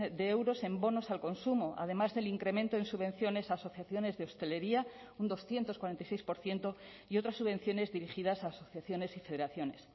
de euros en bonos al consumo además del incremento en subvenciones a asociaciones de hostelería un doscientos cuarenta y seis por ciento y otras subvenciones dirigidas a asociaciones y federaciones